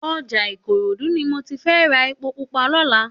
Òjá Ikorodu ni mó ti fè rá épó púpà lòlá